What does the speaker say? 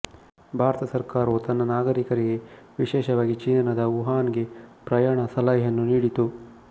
ಭಾರತ ಸರ್ಕಾರವು ತನ್ನ ನಾಗರಿಕರಿಗೆ ವಿಶೇಷವಾಗಿ ಚೀನಾದ ವುಹಾನ್ ಗೆ ಪ್ರಯಾಣ ಸಲಹೆಯನ್ನು ನೀಡಿತು